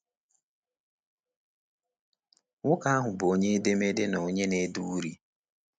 Nwoke ahụ bụ onye edemede na onye na-ede uri.